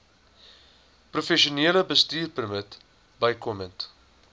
professionele bestuurpermit bykomend